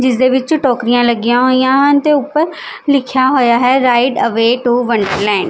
ਜਿਸ ਦੇ ਵਿੱਚ ਟੋਕਰੀਆਂ ਲੱਗੀਆਂ ਹੋਈਆਂ ਹਨ ਤੇ ਉੱਪਰ ਲਿਖਿਆ ਹੋਇਆ ਹੈ ਰਾਈਟ ਅਵੇ ਟੂ ਵੰਡਰਲੈਂਡ --